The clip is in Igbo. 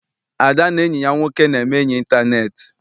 Ada na enyi ya nwoke na-eme enyi intaneeti.